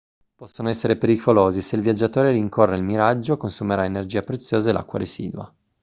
possono essere pericolosi se il viaggiatore rincorre il miraggio consumerà energia preziosa e l'acqua residua